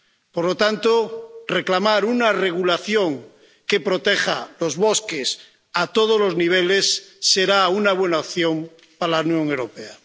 Por lo tanto, reclamar una regulación que proteja los bosques a todos los niveles será una buena opción para la Unión Europea.